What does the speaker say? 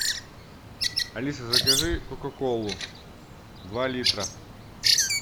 алиса закажи кока колу два литра